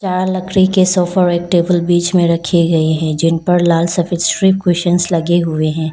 यहां लकड़ी के सोफे टेबल बीच में रखी गई है जिन पर लाल सफेद क्वेश्चंस लगे हुए हैं।